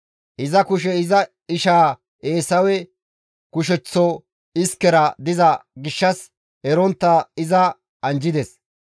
Iza kushey iza ishaa Eesawe kusheththo iskera diza gishshas erontta iza anjjides.